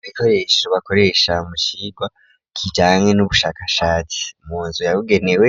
Ibikoresho bakoresha mucigwa kijanye n'ubushakashatsi munzu ya bigenewe